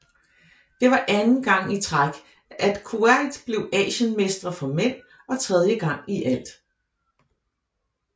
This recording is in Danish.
Det var anden gang at træk at Kuwait blev Asienmestre for mænd og tredje gang i alt